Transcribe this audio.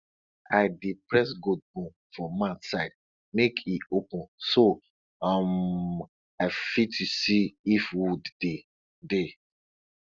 i dey press goat bone for mouth side make e open so um i fit see if wound dey dey